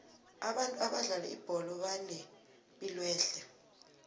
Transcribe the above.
abantu abadlala ibholo banepilwehle